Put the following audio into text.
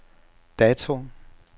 dato